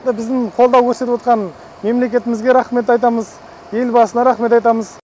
мына біздің қолдау көрсетіп отқан мемлекетімізге рахмет айтамыз елбасына рахмет айтамыз